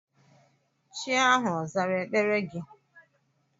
Chi ahụ ọ zara ekpere gị?